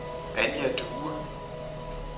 Anja Due